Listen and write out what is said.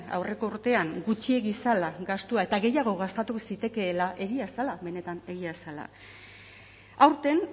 aurreko urtean gutxiegi zela gastua eta gehiago gastatu zitekeela egia zela benetan egia zela aurten